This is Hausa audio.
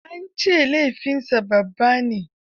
An ce laifinsa babban laifi ne.